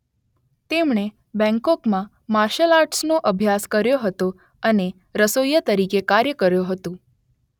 તેમણે બેંગકોકમાં માર્શલ આર્ટસનો અભ્યાસ કર્યો હતો અને રસોઇયા તરીકે કાર્ય કર્યું હતું.